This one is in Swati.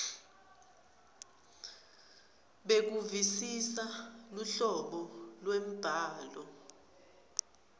bekuvisisa luhlobo lwembhalo